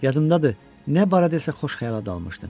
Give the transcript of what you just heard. Yadımdadır, nə barədə isə xoş xəyala dalmışdım.